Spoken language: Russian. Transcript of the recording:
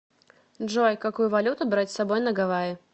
джой какую валюту брать с собой на гавайи